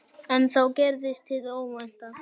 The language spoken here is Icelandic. En þá gerðist hið óvænta.